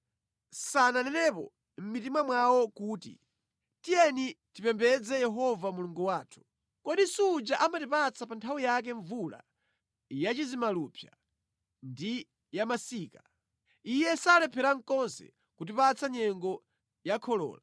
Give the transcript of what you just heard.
Sananenepo mʼmitima mwawo kuti, ‘Tiyeni tizipembedza Yehova Mulungu wathu. Kodi suja amatipatsa pa nthawi yake mvula yachizimalupsa ndi yamasika. Iye salephera konse kutipatsa nyengo ya kholola.’